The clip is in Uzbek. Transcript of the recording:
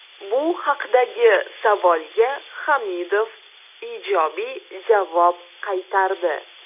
Bu haqdagi savolga Hamidov ijobiy javob qaytardi.